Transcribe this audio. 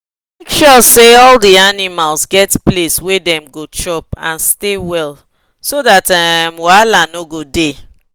make sure say all the animals get place wa them go chop and stay well so that um wahala no go the